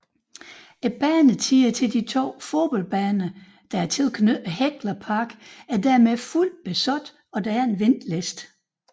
Banetiderne til de to fodboldbaner tilknyttet Hekla Park er således fuldt besat og der er en venteliste